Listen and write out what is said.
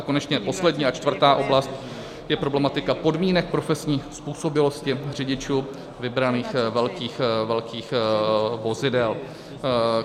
A konečně poslední a čtvrtá oblast je problematika podmínek profesní způsobilosti řidičů vybraných velkých vozidel.